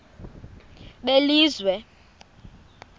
belizwe